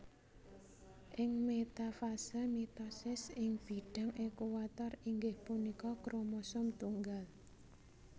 Ing metafase mitosis ing bidang equator inggih punika kromosom tunggal